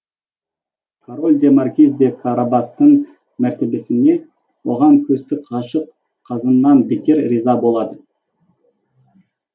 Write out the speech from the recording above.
король де маркиз де карабастың мәртебесіне оған көзсіз ғашық қызынан бетер риза болады